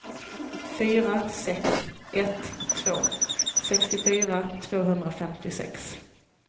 fyra sex ett två sextiofyra tvåhundrafemtiosex